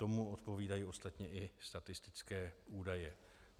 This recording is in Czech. Tomu odpovídají ostatně i statistické údaje.